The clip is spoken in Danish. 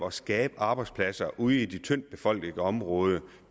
at skabe arbejdspladser ude i de tyndtbefolkede områder